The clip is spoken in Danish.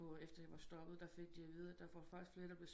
På efter jeg var stoppet der fik de at vide der var faktisk flere der blev